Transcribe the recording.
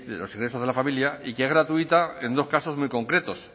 los ingresos de la familia y que es gratuita en dos casos muy concretos